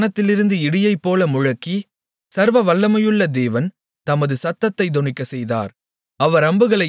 யெகோவா வானத்திலிருந்து இடியைப்போல முழங்கி சர்வவல்லமையுள்ள தேவன் தமது சத்தத்தைத் தொனிக்கச் செய்தார்